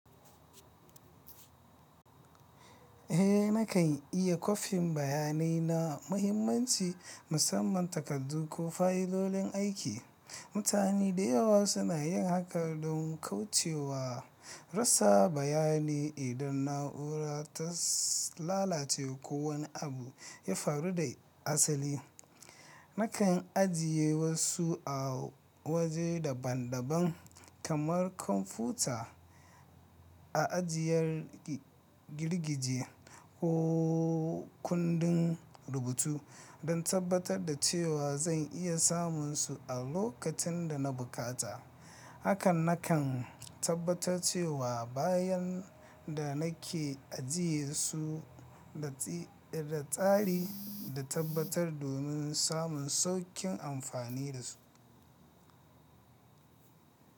Eh, na kan iya kwafin bayanai na muhimmanci, musamman takardu ko fayilolin aiki. Mutane da yawa suna yin haka don kauce wa rasa bayani idan na’ura ta lalace ko wani abu ya faru da asali. Na kan ajiye wasu a waje daban-daban kamar kwamfuta, a ajiyar girgije ko kundin rubutu don tabbatar da cewa zan iya samun su a lokacin da na bukata. Haka na kan tabbatar cewa bayan da na ke ajiye su da da tsari da tabbatar domin samun sauƙin amfani da su.